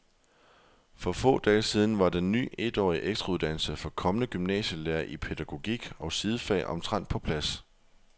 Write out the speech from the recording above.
For få dage siden var den ny etårige ekstrauddannelse for kommende gymnasielærere i pædagogik og sidefag omtrent på plads.